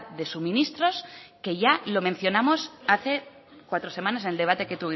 de suministros que ya lo mencionamos hace cuatro semanas en el debate que